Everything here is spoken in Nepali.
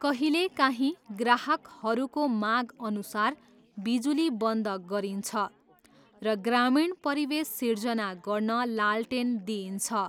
कहिलेकाहीँ, ग्राहकहरूको मागअनुसार, बिजुली बन्द गरिन्छ र ग्रामीण परिवेश सृजना गर्न लालटेन दिइन्छ।